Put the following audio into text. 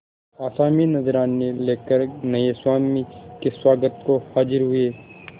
आसामी नजराने लेकर नये स्वामी के स्वागत को हाजिर हुए